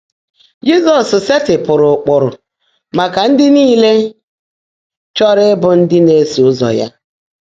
Jị́zọ́s seètịpụ́rụ́ ụ́kpụ́rụ́ màká ndị́ níle chọ́ọ́rọ́ íbụ́ ndị́ ná-èsó ụ́zọ́ yá.